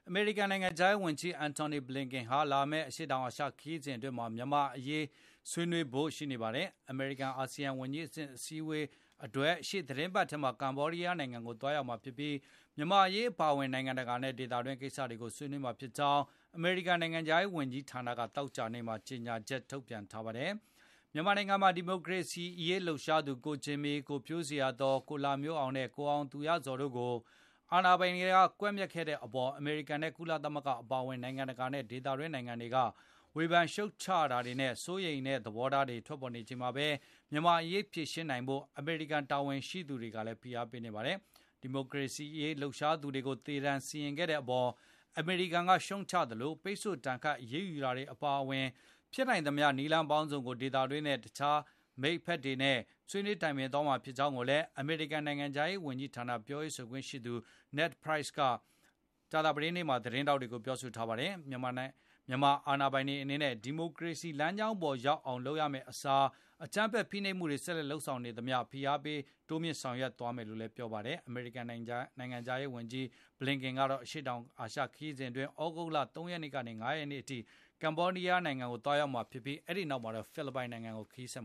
အမေရိကန်နိုင်ငံခြားရေးဝန်ကြီး Antony Blinken ဟာ လာမယ့် အရှေ့တောင်အာရှ ခရီးစဉ်မှာ မြန်မာ့အရေး ဆွေးနွေးဖို့ ရှိနေပါတယ်။ အမေရိကန်-အာဆီယံ ဝန်ကြီးအဆင့် အစည်းအဝေးအတွက် ရှေ့သီတင်းပတ်ထဲ ကမ္ဘောဒီးယားနိုင်ငံကို သွားရောက်မှာဖြစ်ပြီး၊ မြန်မာ့အရေး အပါအဝင် နိုင်ငံတကာနဲ့ ဒေသတွင်း ကိစ္စတွေကို ဆွေးနွေးမှာဖြစ်ကြောင်း အမေရိကန် နိုင်ငံခြားရေး ဝန်ကြီးဌာနက သောကြာနေ့မှာ ကြေညာချက် ထုတ်ပြန်ခဲ့တာပါ။ မြန်မာနိုင်ငံမှာ ဒီမိုကရေစီရေး လှုပ်ရှားသူ ကိုဂျင်မီ၊ ကိုဖြိုးဇေယျာသော်၊ ကိုလှမျိုးအောင်နဲ့ ကိုအောင်သူရဇော်တို့ကို အာဏာပိုင်တွေ ကွပ်မျက်ခဲ့တဲ့အပေါ် အမေရိကန်နဲ့ ကုလသမဂ္ဂ အပါအဝင် နိုင်ငံတကာနဲ့ ဒေသတွင်း နိုင်ငံတွေက ဝေဖန်ရှုတ်ချမှုတွေနဲ့ စိုးရိမ်တဲ့ သဘောထားတွေ ထွက်ပေါ်နေချိန်မှာပဲ မြန်မာ့အရေး ဖြေရှင်းဖို့ အမေရိကန် တာဝန်ရှိသူတွေကလည်း ဖိအားပေးနေပါတယ်။ ဒီမိုကရေစီရေး လှုပ်ရှားသူတွေကို သေဒဏ်စီရင်ခဲ့တဲ့အပေါ် အမေရိကန်က ရှုတ်ချသလို၊ ပိတ်ဆို့ဒဏ်ခတ် အရေးယူတာတွေ အပါအဝင် ဖြစ်နိုင်သမျှ နည်းလမ်းပေါင်းစုံကို ဒေသတွင်းနဲ့ တခြားက မိတ်ဖက်တွေနဲ့ ဆွေးနွေးတိုင်ပင်သွားမှာ ဖြစ်ကြောင်းလည်း အမေရိကန် နိုင်ငံခြားရေး ဝန်ကြီးဌာန ပြောခွင့်ရပုဂ္ဂိုလ် Ned Price က ကြာသပတေးနေ့မှာ သတင်းထောက်တွေကို ပြောဆိုထားပါတယ်။ မြန်မာစစ်အာဏာပိုင်တွေ အနေနဲ့ ဒီမိုကရေစီ လမ်းကြောင်းပေါ်ရောက်အောင် လုပ်ရမယ့်အစား အကြမ်းဖက် ဖိနှိပ်မှုတွေ ဆက်လုပ်နေသမျှ ဖိအားတွေ တိုးမြှင့်သွားမယ်လို့လည်း ပြောပါတယ်။ အမေရိကန်နိုင်ငံခြားရေးဝန်ကြီး Blinken ရဲ့ အရှေ့တောင်အာရှ ခရီးစဉ်အတွင်း သြဂုတ်လ ၃ ရက်နေ့ကနေ ၅ ရက်နေ့အထိ ကမ္ဘောဒီယားနိုင်ငံ ခရီးစဉ်အပြီးမှာတော့၊ ဖိလစ်ပိုင်နိုင်ငံကို ဆက်